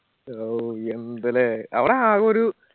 ആവ് യെന്ത് ല്ലേ അവട ആക ഒരു